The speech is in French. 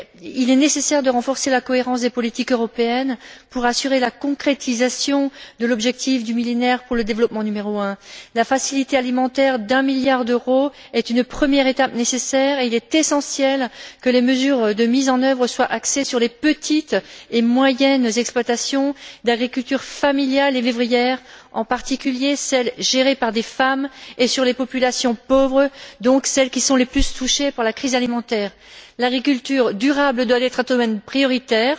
Il est nécessaire de renforcer la cohérence des politiques européennes pour assurer la concrétisation du premier objectif du Millénaire pour le développement. La facilité alimentaire d'un milliard d'euros est une première étape nécessaire, et il est essentiel que les mesures de mise en œuvre soient axées sur les petites et moyennes exploitations d'agriculture familiale et vivrière, en particulier celles gérées par des femmes, et sur les populations pauvres, donc celles qui sont le plus touchées par la crise alimentaire. L'agriculture durable doit être un domaine prioritaire.